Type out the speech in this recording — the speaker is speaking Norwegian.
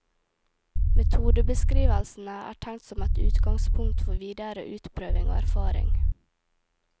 Metodebeskrivelsene er tenkt som et utgangspunkt for videre utprøving og erfaring.